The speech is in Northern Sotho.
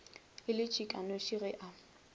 e le tšhikanoši ge a